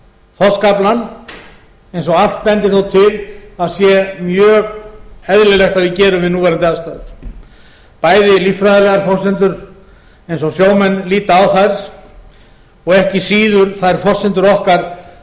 þorskaflann eins og allt bendir nú til að sé mjög eðlilegt að við gerum við núverandi aðstæður bæði líffræðilegar forsendur eins og sjómenn líta á þær og ekki síður þær forsendur okkar